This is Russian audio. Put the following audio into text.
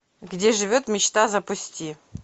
где живет мечта запусти